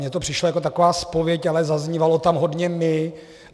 Mně to přišlo jako taková zpověď, ale zaznívalo tam hodně my.